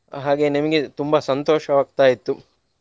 ಹಾಗೇ ನಿಮ್ಗೆ ತುಂಬಾ ಸಂತೋಷವಾಗ್ತಾ ಇತ್ತು.